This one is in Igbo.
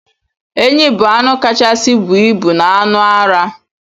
Enyi bu anụ kachasi buọ ibụ na anụ ara.